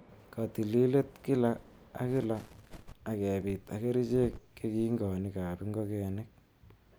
Kotililetab kila ak kila ak kebit ak kerichek kekingonik ab ingogenik.